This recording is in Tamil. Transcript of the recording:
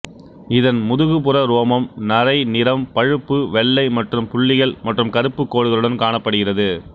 இதன் முதுகுப்புற ரோமம் நரை நிறம் பழுப்பு வெள்ளை மற்றும் புள்ளிகள் மற்றும் கருப்பு கோடுகளுடன் காணப்படுகிறது